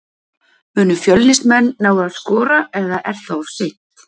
Munu Fjölnismenn ná að skora eða er það of seint?